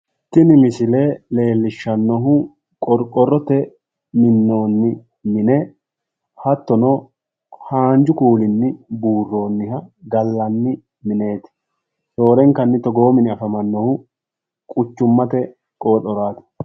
tini misile leellishannohu qoqorrotenni minoonni mine, hattono haanju kuulinni buuroonniha gallanni mineeti, roorenkanni togoo mini afamannohu quchummate qooxoraati.